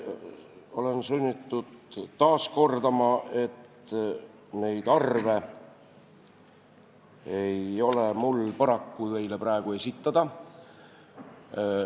Olen sunnitud taas kordama, et neid arve ei ole mul paraku teile praegu esitada.